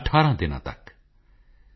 IF you have knowledge share it